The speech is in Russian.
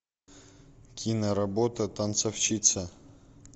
киноработа танцовщица